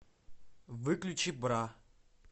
выключи бра